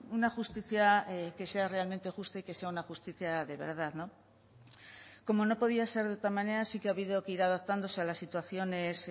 una justicia que sea realmente justa y que sea una justicia de verdad no como no podía ser de otra manera sí que ha habido que ir adaptándose a las situaciones